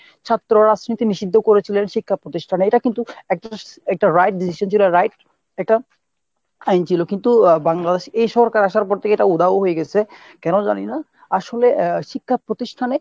ছাত্র রাজনীতি নিষিদ্ধ করেছিলেন শিক্ষা প্রতিষ্ঠানে এটা কিন্তু একটা right decision ছিল একটা right একটা আইন ছিল। কিন্তু Bangladesh এ এই সরকার আসর পর এটা উধাও হয়ে গেছে। কেন জানি না ? আসলে শিক্ষা প্রতিষ্ঠানে